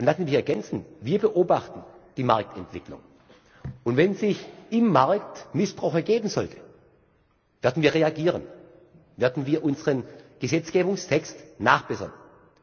Lassen Sie mich ergänzen Wir beobachten die Marktentwicklung, und wenn sich im Markt Missbrauch ergeben sollte, werden wir reagieren, werden wir unseren Gesetzgebungstext nachbessern.